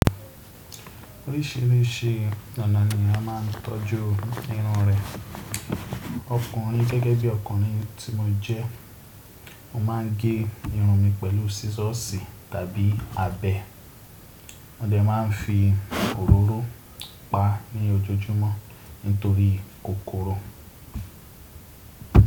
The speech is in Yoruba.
Oríṣìíríṣìí ọ̀nà ni a máà ń tọ́jú irun rẹ. Ọkùnrin gẹ́gẹ́ bí ọkùnrin tí mo jẹ́, mo má ń gé irun mi pẹ̀lú scissors tàbí abẹ́, mo dẹ̀ má ń fi òróró paá ní ojoojúmọ́ nítorí kòkòrò.